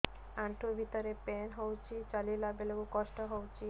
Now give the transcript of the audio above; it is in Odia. ଆଣ୍ଠୁ ଭିତରେ ପେନ୍ ହଉଚି ଚାଲିଲା ବେଳକୁ କଷ୍ଟ ହଉଚି